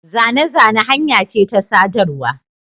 Zane-zane hanya ce ta sadarwa.